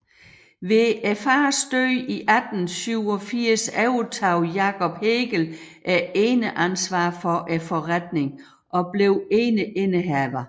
Ved farens død i 1887 overtog Jacob Hegel eneansvaret for forretningen og blev eneindehaver